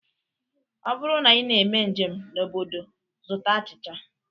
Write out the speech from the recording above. Ọ bụrụ na ị na-eme njem n'obodo, zụta achịcha